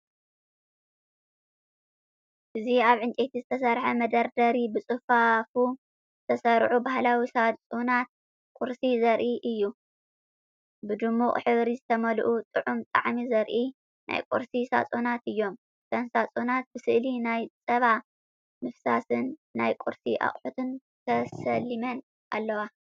እዚ ኣብ ዕንጨይቲ ዝተሰርሐ መደርደሪ ብጽፉፍ ዝተሰርዑ ባህላዊ ሳጹናት ቁርሲ ዘርኢ እዩ። ብድሙቕ ሕብሪ ዝተመልኡ፡ ጥዑም ጣዕሚ ዘርእዩ ናይ ቁርሲ ሳጹናት እዮም። እተን ሳጹናት ብስእሊ ናይ ጸባ ምፍሳስን ናይ ቁርሲ ኣቑሑትን ተሰሊመን ኣለዋ።